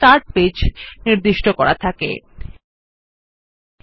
স্বাভাবিকভাবে home page হিসাবে Mozilla Firefox start page নির্দিষ্ট করা থাকে